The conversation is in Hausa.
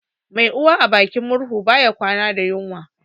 Mai Uwa a gidin murhu bai kwana da yunwa